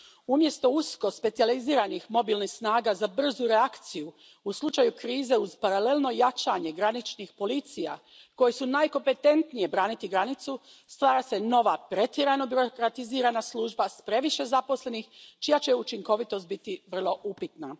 Umjesto usko specijaliziranih mobilnih snaga za brzu reakciju u slučaju krize uz paralelno jačanje graničnih policija koje su najkompetentnije braniti granicu, stvara se nova, pretjerano birokratizirana služba s previše zaposlenih čija će učinkovitost biti vrlo upitna.